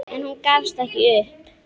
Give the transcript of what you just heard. En hún gafst ekki upp.